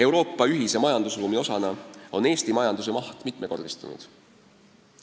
Euroopa ühise majandusruumi osana on Eesti majanduse maht mitmekordistunud.